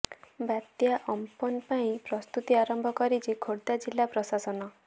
ବାତ୍ୟା ଅମ୍ପନ ପାଇଁ ପ୍ରସ୍ତୁତି ଆରମ୍ଭ କରିଛି ଖୋର୍ଦ୍ଧା ଜିଲ୍ଲା ପ୍ରଶାସନ